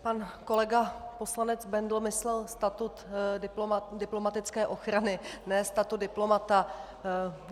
Pan kolega poslanec Bendl myslel statut diplomatické ochrany, ne statut diplomata.